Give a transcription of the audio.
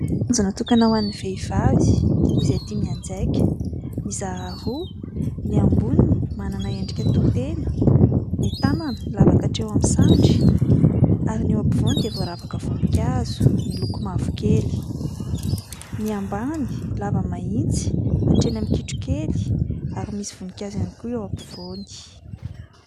Ankajo natokana ho an'ny vehivavy izay tia mianjaika. Mizara roa, ny amboniny manana endrika toitena, ny tanana lava katreo amin'ny sandry, ary ny eo ampovoany dia voaravaka voninkazo miloko mavo kely; ny ambany lava mahitsy hatreny amin'ny kitro kely ary misy voninkazo ihany koa eo ampovoany.